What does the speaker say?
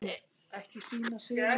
Hvað segja lögin?